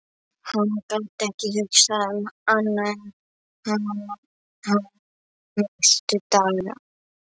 Hún gat ekki hugsað um annað en hann næstu daga.